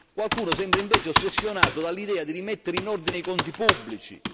Qualcuno sembra invece ossessionato dall'idea di rimettere in ordine i conti pubblici.